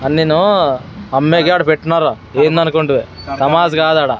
అన్నిను అమ్మేకే ఆడ పెట్నారు ఏందనుకుంటివి తమాష్ కాదాడ.